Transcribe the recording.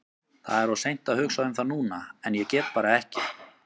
Það er of seint að hugsa um það núna en ég get bara ekki.